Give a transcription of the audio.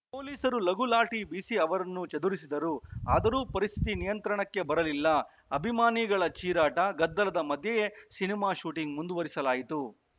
ಪೊಲೀಸರು ಲಘು ಲಾಠಿ ಬೀಸಿ ಅವರನ್ನು ಚದುರಿಸಿದರು ಆದರೂ ಪರಿಸ್ಥಿತಿ ನಿಯಂತ್ರಣಕ್ಕೆ ಬರಲಿಲ್ಲ ಅಭಿಮಾನಿಗಳ ಚೀರಾಟ ಗದ್ದಲದ ಮಧ್ಯೆಯೇ ಸಿನಿಮಾ ಶೂಟಿಂಗ್‌ ಮುಂದುವರಿಸಲಾಯಿತು